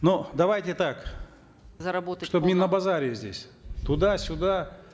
но давайте так заработать чтобы не на базаре здесь туда сюда